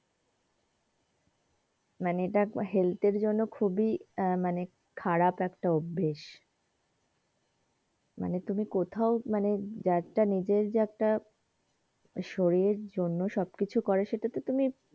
মানে এইটা health এর জন্যে খুবই এই মানে খারাপ একটা অভ্যেস মানে তুমি কোথাও মানে যে একটা নিজের যে একটা শরীরের একটা জন্যে সব কিছু করে সেইটা টে তুমি,